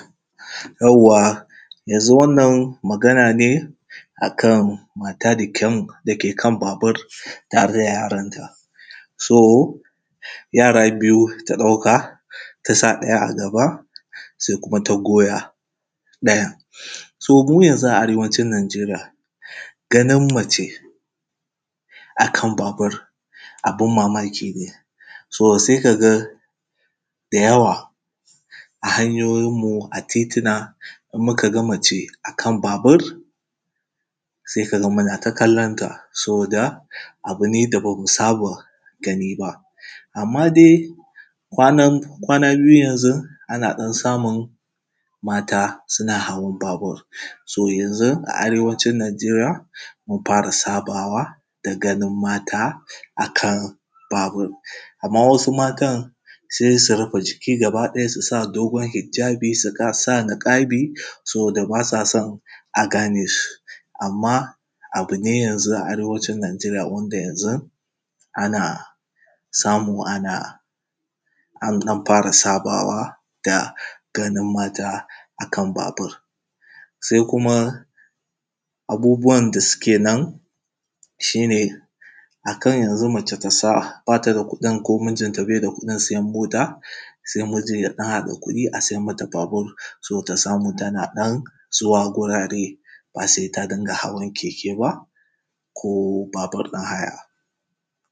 Yawwa yanzu wannan magana ne, a kan mata da ke kan babur tare da yaranta, so yara biyu ta ɗauka. Ta sa ɗaya a gaba, sai kuma ta sa goya ɗayan. So mu yanzu a arewacin Najeria ganin mace, a kan ba bur abin mamaki ne, so sai kaga da yawa a hanyoyin mu a tituna in muka ga mace a kan babur, sai ka ga muna ta kallon ta saboda abu ne da mu saba gani ba. Amma dai kwan kwana biyu yanzu ana ɗan samun mata suna hawan babur. So yanzun a arewacin Najeriya mun dan fara sabawa da ganin mata a kan babur. Amma wasu matan sais u rufe jiki gaba ɗaya su sa dogon hijabi, su sa liƙabi saboda bas a san a gane su. Amma abi ne yanzu a arewacin Najeriya wanda yanzun ana samu ana, an ɗan fara sabawa da ganin mata a kan babur. Sai kuma abubuwan da suke nan shi ne, a kan yanzu mace ta sa bata da kuɗin ko mijin ta bai da kuɗin sayan mota, sai mijin ya ɗan haɗa kuɗi ya sai mata babur, saboda ta samu tana ɗan zuwa wurare ba sai ta dinga hawa keke ba.ko babur ɗin haya.